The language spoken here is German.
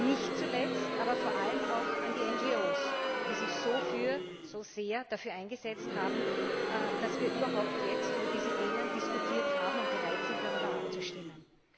Nicht zuletzt, aber vor allem auch an die NRO, die sich so sehr dafür eingesetzt haben, dass wir überhaupt jetzt über diese Themen diskutiert haben und bereit sind, darüber abzustimmen.